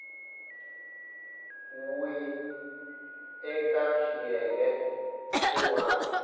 we eka xiyenge xin wana